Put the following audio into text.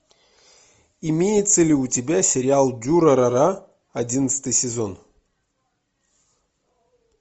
имеется ли у тебя сериал дюрарара одиннадцатый сезон